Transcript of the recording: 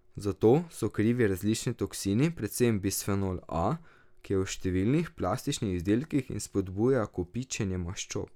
Za to so krivi različni toksini, predvsem bisfenol A, ki je v številnih plastičnih izdelkih in spodbuja kopičenje maščob.